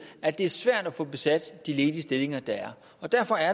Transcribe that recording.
at det er svært at få besat de ledige stillinger der er og derfor er